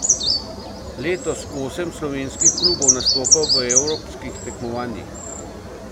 Letos osem slovenskih klubov nastopa v evropskih tekmovanjih.